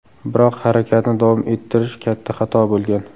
Biroq harakatni davom ettirish katta xato bo‘lgan.